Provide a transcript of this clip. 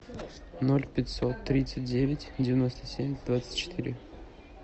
ноль пятьсот тридцать девять девяносто семь двадцать четыре